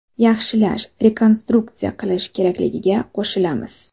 Yaxshilash, rekonstruksiya qilish kerakligiga qo‘shilamiz.